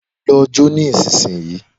Lọ jó nísinsìnyí